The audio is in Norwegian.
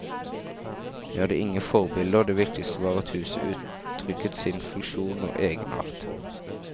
Vi hadde ingen forbilder, det viktige var at huset uttrykker sin funksjon og egenart.